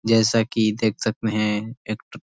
जैसा कि देख सकते हैं एक ट --